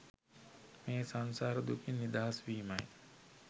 මේ සංසාර දුකින් නිදහස් වීමයි